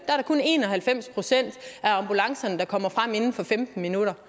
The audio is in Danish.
er det kun en og halvfems procent af ambulancerne der kommer frem inden for femten minutter